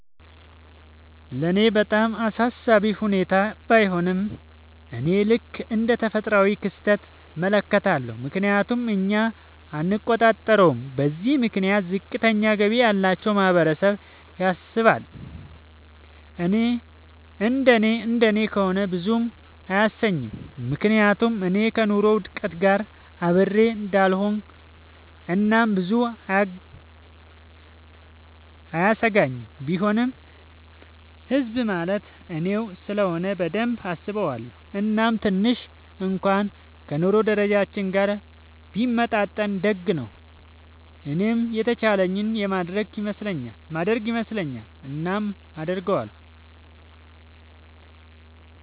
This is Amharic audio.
ለኔ በጣም አሳሳቢ ሁኔታ ባይሆንም፤ እኔ ልክ እንደ ተፈጥሯዊ ክስተት እመለከተዋለሁ፤ ምክንያቱም እኛ አንቆጣጠረውም። በዚህም ምክንያት ዝቅተኛ ገቢ ያላቸው ማህበረሰብ ያሳስባል፤ እንደኔ እንደኔ ከሆነ ብዙም አያሰኘኝም፤ ምክንያቱም እኔ ከኑሮ ውድነት ጋር አብሬ እሆዳለኹ እናም ብዙም አያሰጋኝም፤ ቢሆንም ህዝብ ማለት እኔው ስለሆነ በደንብ አስበዋለው፤ እናም ትንሽ እንኩዋን ከ ኑሮ ደረጃችን ጋር ቢመጣጠን ደግ ነው። እኔም የተቻለኝን የማረግ ይመስለኛል። እናም አረጋለው።